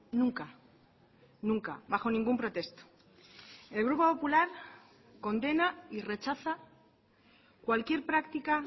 nunca nunca bajo ningún pretexto el grupo popular condena y rechaza cualquier práctica